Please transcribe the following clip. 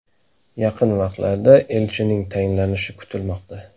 Yaqin vaqtlarda elchining tayinlanishi kutilmoqda.